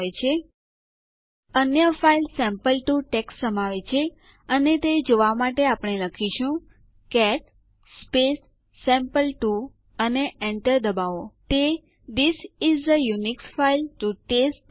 assignment તરીકે command prompt ઉપર type કરો ડીયુ સ્પેસ ch સ્પેસ txt અને જુઓ શું થાય છે ચાલો હું ફરીથી સ્લાઇડ્સ પર પાછી જાઉં